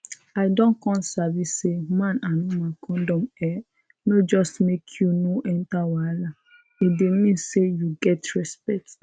i don come sabi say man and woman condom[um]no just make you no enter wahala e dey mean say you get respect